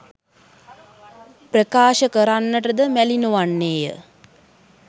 ප්‍රකාශ කරන්නටද මැලිනොවන්නේය.